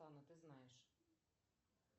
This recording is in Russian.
ты знаешь